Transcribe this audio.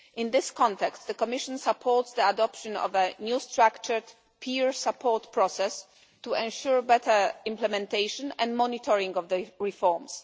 In this context, the Commission supports the adoption of a new structured peer support process to ensure better implementation and monitoring of the reforms.